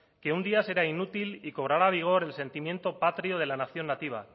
que un día será inútil y cobrará vigor el sentimiento patrio de la nación nativa